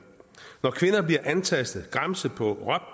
bliver antastet gramset på